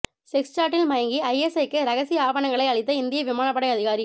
sex சாட்டில் மயங்கி ஐஎஸ்ஐக்கு ரகசிய ஆவணங்களை அளித்த இந்திய விமானப்படை அதிகாரி